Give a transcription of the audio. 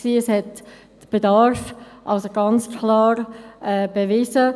Das hat den Bedarf also ganz klar bewiesen.